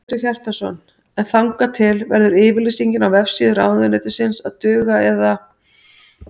Hjörtur Hjartarson: En þangað til verður yfirlýsingin á vefsíðu ráðuneytisins að duga eða?